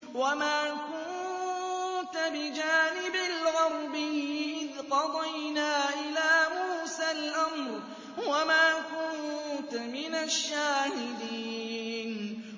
وَمَا كُنتَ بِجَانِبِ الْغَرْبِيِّ إِذْ قَضَيْنَا إِلَىٰ مُوسَى الْأَمْرَ وَمَا كُنتَ مِنَ الشَّاهِدِينَ